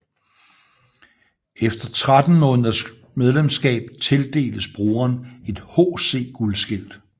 Efter 13 måneders medlemskab tildeles brugeren et HC guldskilt